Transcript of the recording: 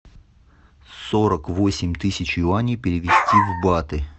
сорок восемь тысяч юаней перевести в баты